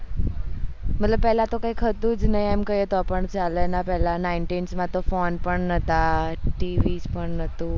મતલબ પેહલા તો કઈ હતું જ નહી એમ કેઈ એ તો પણ ચાલે એના પેહલા nineteen માં ફોન પણ નાતા TV પણ નતુ